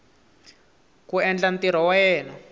ku endla ntirho wa yena